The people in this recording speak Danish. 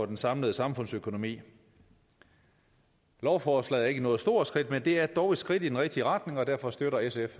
den samlede samfundsøkonomi lovforslaget er ikke noget stort skridt men det er dog et skridt i den rigtige retning og derfor støtter sf